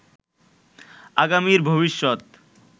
আগামীর ভবিষ্যত